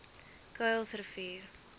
kuilsrivier